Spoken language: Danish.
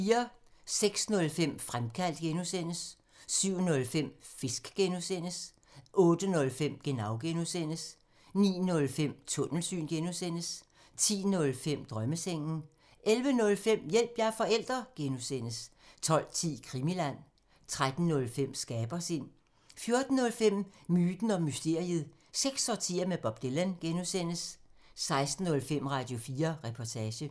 06:05: Fremkaldt (G) 07:05: Fisk (G) 08:05: Genau (G) 09:05: Tunnelsyn (G) 10:05: Drømmesengen 11:05: Hjælp – jeg er forælder! (G) 12:10: Krimiland 13:05: Skabersind 14:05: Myten og mysteriet – seks årtier med Bob Dylan (G) 16:05: Radio4 Reportage